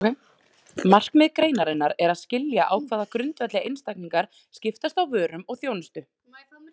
Markmið greinarinnar er að skilja á hvaða grundvelli einstaklingar skiptast á vörum og þjónustu.